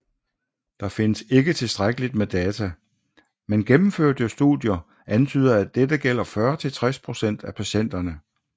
Der findes ikke tilstrækkeligt med data men gennemførte studier antyder at dette gælder 40 til 60 procent af patienterne